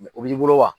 o b'i bolo wa